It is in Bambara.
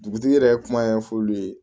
Dugutigi yɛrɛ kuma ɲɛfɔ olu ye